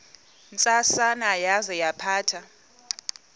ntsasana yaza yaphatha